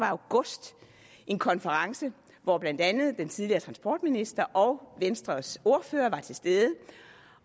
august en konference hvor blandt andet den tidligere transportminister og venstres ordfører var til stede